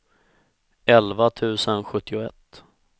elva tusen sjuttioett